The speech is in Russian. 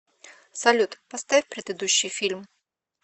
салют поставь предыдущий фильм